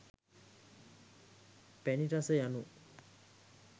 පැණි රස යනු